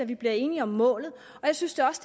vi bliver enige om målet og jeg synes da også